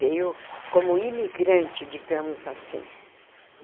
Veio como imigrante, digamos assim.